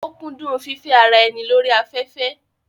ó kúndún fífẹ́ ara ẹni lórí afẹ́fẹ́